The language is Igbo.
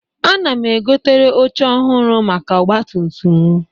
Ana m egotere oche ọhụrụ maka ọgbatumtum m.